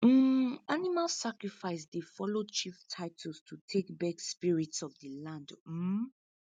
um animal sacrifice dey follow chief titles to take beg spirits of the land um